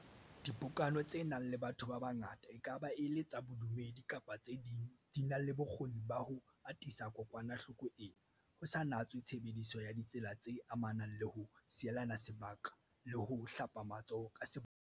Dipokano tse nang le batho ba bangata, e ka ba e le tsa bodumedi kapa tse ding, di na le bokgoni ba ho atisa kokwanahloko ena, ho sa natswe tshebediso ya ditsela tse amanang le ho sielana se baka le ho hlapa matsoho ka sebolaya-dikokwanahloko.